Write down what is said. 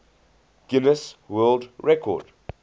guinness world record